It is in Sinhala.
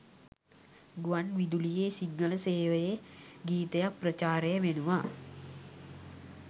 ගුවන් විදුලියෙ සිංහල සේවයෙ ගීතයක් ප්‍රචාරය වෙනවා